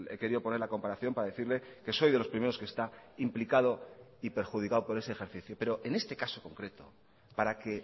querido poner la comparación para decirle que soy de los primeros que está implicado y perjudicado por ese ejercicio pero en este caso concreto para que